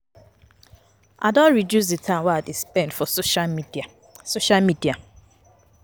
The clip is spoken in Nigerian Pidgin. I don reduce di time wey I dey spend for social media. social media.